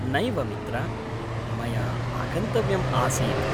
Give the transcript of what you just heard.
नैव मित्र, मया आगन्तव्यम् आसीत्।